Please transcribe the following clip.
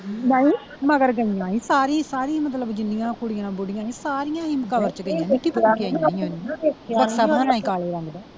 ਨਹੀਂ ਮਗਰ ਸਾਰੀ ਸਾਰੀ ਮਤਲਬ ਜਿੰਨੀਆਂ ਕੁੜੀਆਂ ਬੁੜੀਆਂ ਸੀ ਸਾਰੀਆਂ ਹੀ .